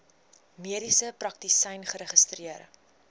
mediese praktisyn geregistreer